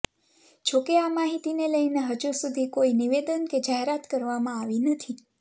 જો કે આ માહિતીને લઈને હજુ સુધી કોઈ નિવેદન કે જાહેરાત કરવામાં આવી નથી